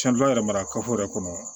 yɛrɛ mara yɛrɛ kɔnɔ